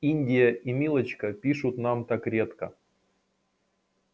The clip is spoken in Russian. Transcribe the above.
индия и милочка пишут нам так редко